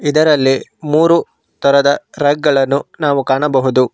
ಇದರಲ್ಲಿ ಮೂರು ತರದ ರ್ಯಾಕ್ ಗಳನ್ನು ನಾವು ಕಾಣಬಹುದು.